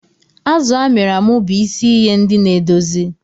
Azụ a mịrị amị bụ isi iye ndi na-edozi.